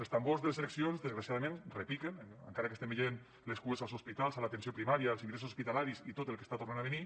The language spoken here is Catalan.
els tambors de les eleccions desgraciadament repiquen encara que estem veient les cues als hospitals a l’atenció primària els ingressos hospitalaris i tot el que està tornant a venir